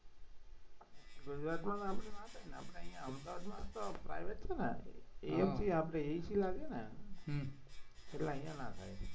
ગુજરાતમાં આપણે ના થાય ને આપણે અહીંયા અમદાવાદમાં તો private છે ને આપણે east લાગે ને હમ એટલે અહીંયા ના થાય